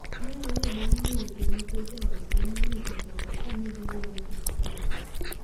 Mae ne bang' mulo kirope jaodgi mane osetho ka ne gidwaro gik tugo.